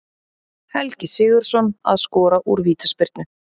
Helgi Sigurðsson að skora úr vítaspyrnu.